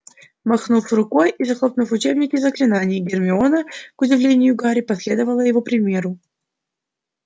махнув рукой и захлопнул учебник заклинаний гермиона к удивлению гарри последовала его примеру